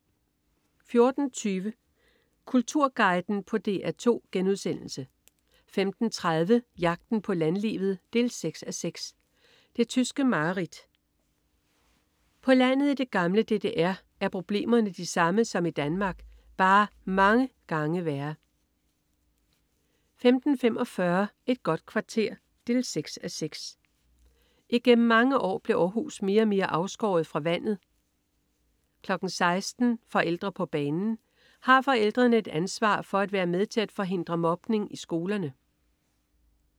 14.30 Kulturguiden på DR2* 15.30 Jagten på landlivet 6:6. Det tyske mareridt. På landet i det gamle DDR er problemerne de samme som i Danmark, bare mange gange værre 15.45 Et godt kvarter 6:6. Igennem mange år blev Århus mere og mere afskåret fra vandet 16.00 Forældre på banen. Har forældrene et ansvar for at være med til at forhindre mobning i skolerne?